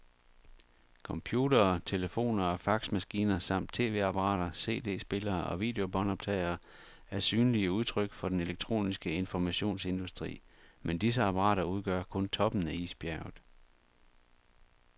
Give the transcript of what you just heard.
Computere, telefoner og faxmaskiner samt tv-apparater, cd-spillere og videobåndoptagere er synlige udtryk for den elektroniske informationsindustri, men disse apparater udgør kun toppen af isbjerget.